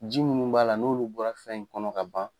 Ji minnu b'a la n'olu bɔra fɛn in kɔnɔ ka ban